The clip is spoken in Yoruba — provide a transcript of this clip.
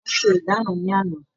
Wọ́n ṣe ìdáná ní àná